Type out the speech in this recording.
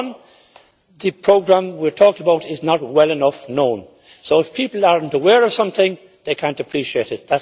One the programme we are talking about is not well enough known, and if people are not aware of something they cannot appreciate it.